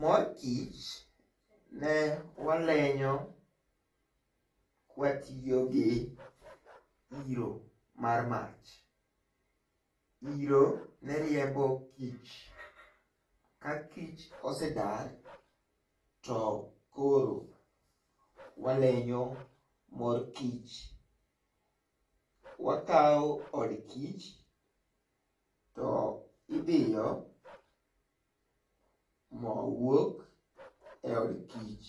Mor kich ne walenyo kwatiyo gi iro mar mach iro ne riembo kich ka kich osedar to koro walenyo mor kich. Wakao od kich to ibiyo, moo wuok e od kich